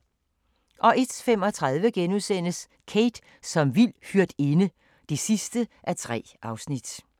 01:35: Kate som vild hyrdinde (3:3)*